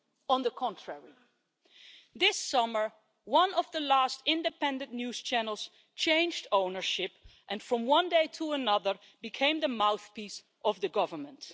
On the contrary, this summer, one of the last independent news channels changed ownership and, from one day to another, became the mouthpiece of the government.